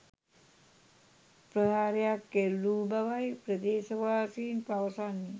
ප්‍රහාරයක් එල්ලවූ බවයි ප්‍රදේශවාසීන් පවසන්නේ.